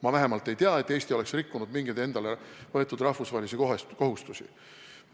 Ma vähemalt ei tea, et Eesti oleks rikkunud mingeid endale võetud rahvusvahelisi kohustusi.